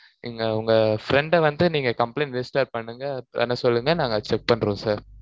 இங்க உங்க friend அ வந்து, நீங்க complaint register பண்ணுங்க பண்ண சொல்லுங்க, நாங்க check பண்றோம், sir